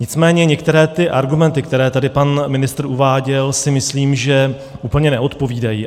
Nicméně některé ty argumenty, které tady pan ministr uváděl, si myslím, že úplně neodpovídají.